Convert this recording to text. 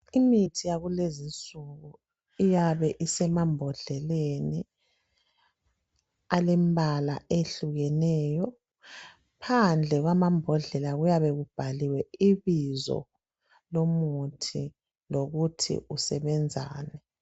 Imithi yakulezinsuku iyabe isemambodleleni alembala eyehlukeneyo. Phandle kwamambodlela kuyabe kubhaliwe ibizo lomuthi lokuthi usebenzani.